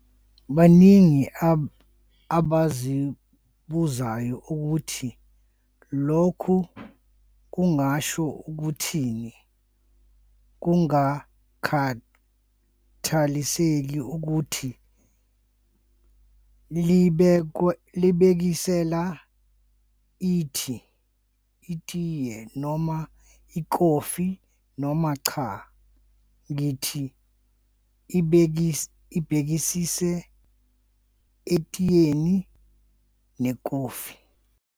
baningi abazibuzayo ukuthi lokhu kungasho ukuthini, kungakhathaliseki ukuthi libhekisela itiye, noma ikhofi, noma cha. Ngithi ibhekise etiyeni, nekhofi.